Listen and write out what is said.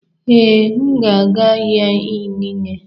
Ee, m ga-aga ahịa inine.